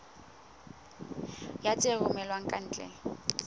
ya tse romellwang ka ntle